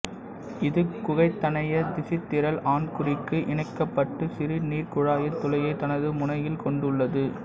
இது குகைத்தனைய திசுத்திரள் ஆண்குறிக்கு இணைக்கப்பட்டு சிறுநீர்க் குழாயின் துளையை தனது முனையில் கொண்டுள்ளது